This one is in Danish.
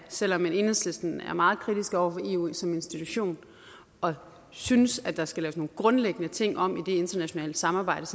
selv om enhedslisten er meget kritiske over for eu som institution og synes at der skal laves nogle grundlæggende ting om i det internationale samarbejde